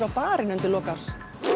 barinn undir lok árs